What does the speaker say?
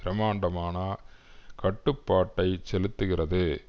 பிரம்மாண்டமான கட்டுப்பாட்டை செலுத்துகிறது